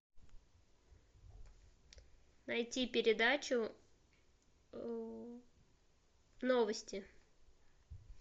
найти передачу новости